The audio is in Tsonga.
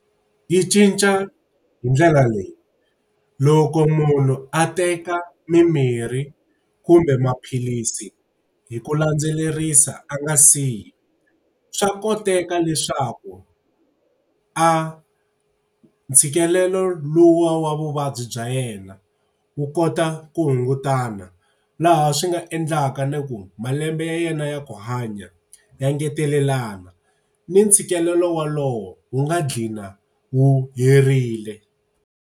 Yi cinca hi ndlela leyi, loko munhu a teka mimirhi kumbe maphilisi hi ku landzelerisa a nga siyi, swa koteka leswaku a ntshikelelo lowuya wa vuvabyi bya yena wu kota ku hungutana. Laha swi nga endlaka ni ku malembe ya yena ya ku hanya ya ngetelelana, ni ntshikelelo wolowo wu nga ghina wu herile.